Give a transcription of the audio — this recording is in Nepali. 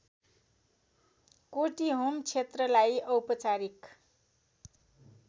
कोटीहोम क्षेत्रलाई औपचारिक